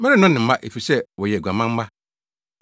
Merennɔ ne mma, efisɛ wɔyɛ aguaman mma.